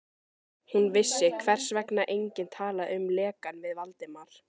Hún vissi, hvers vegna enginn talaði um lekann við Valdimar.